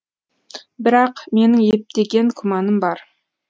бірақ менің ептеген күмәнім бар